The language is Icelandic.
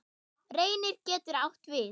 Reynir getur átt við